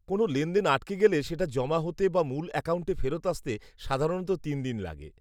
-কোনও লেনদেন আটকে গেলে সেটা জমা হতে বা মূল অ্যাকাউন্টে ফেরত আসতে সাধারণত তিন দিন লাগে।